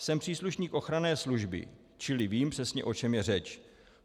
Jsem příslušník ochranné služby, čili vím přesně, o čem je řeč.